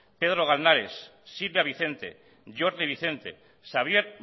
pedro galnares silvia vicente jordi vicente xavier